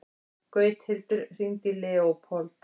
Gauthildur, hringdu í Leópold.